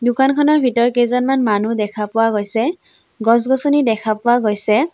দোকানখনৰ ভিতৰত কেইজনমান মানুহ দেখা পোৱা গৈছে গছ-গছনি দেখা পোৱা গৈছে।